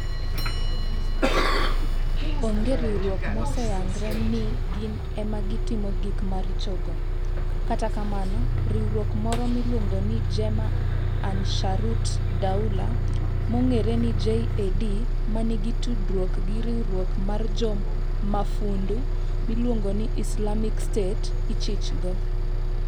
Onge riwruok moseyangre ni gin ema gitimo gik maricho go, kata kamano riwruok moro miluongo ni Jemaah Ansharut Daulah (JAD), ma nigi tudruok gi riwruok mar jo mafundu miluongo ni Islamic State, ichichgo.